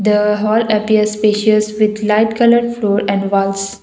the hall appears spacious with light coloured floor and walls.